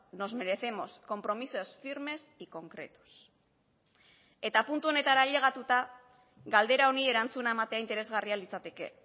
nos merecemos compromisos firmes y concretos eta puntu honetara ailegatuta galdera honi erantzuna ematea interesgarria litzateke